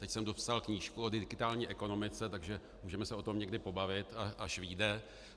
Teď jsem dopsal knížku o digitální ekonomice, takže můžeme se o tom někdy pobavit, až vyjde.